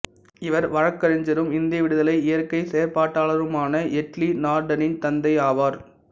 இவர் வழக்கறிஞரும் இந்திய விடுதலை இயக்க செயற்பாட்டாளருமான எர்ட்லி நார்டனின் தந்தை ஆவார்